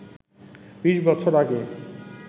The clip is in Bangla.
বিশ বছর আগে